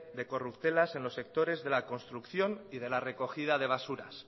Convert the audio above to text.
de corruptelas en los sectores de la construcción y de la recogida de basuras